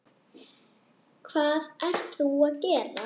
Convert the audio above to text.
Hvað ert þú að gera?